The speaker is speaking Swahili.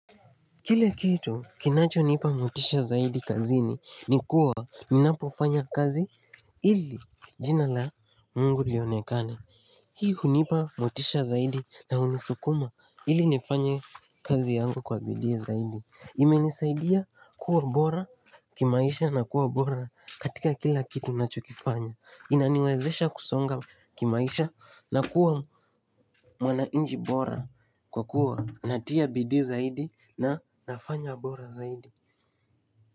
Kile kitu kinachonipa motisha zaidi kazini ni kuwa ninapofanya kazi ili jina la Mungu lionekane Hii hunipa motisha zaidi na hunisukuma ili nifanye kazi yangu kwa bidii zaidi. Imenisaidia kuwa bora kimaisha na kuwa bora katika kila kitu ninachokifanya. Inaniwezesha kusonga kimaisha na kuwa mwananchi bora kwa kuwa natia bidii zaidi na nafanya bora zaidi.